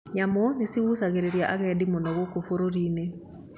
Nyamũ niigucagĩrĩria agendi mũno gũkũ bũrũri-inĩ